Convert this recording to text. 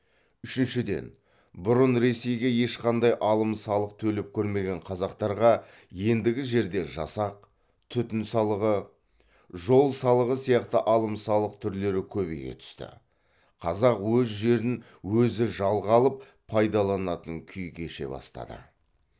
үшіншіден бұрын ресейге ешқандай алым салық төлеп көрмеген қазақтарға ендігі жерде жасақ түтін салығы жол салығы сияқты алым салық түрлері көбейе түсті қазақ өз жерін өзі жалға алып пайдаланатын күй кеше бастады